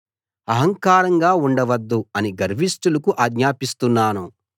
అహంకారంగా ఉండవద్దు అని గర్విష్టులకు ఆజ్ఞాపిస్తున్నాను